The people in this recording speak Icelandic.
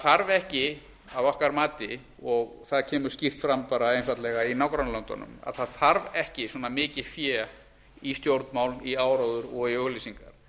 þarf ekki að okkar mati og það kemur skýrt fram einfaldlega í nágrannalöndunum það þarf ekki svona mikið fé í stjórnmál í áróður og í auglýsingar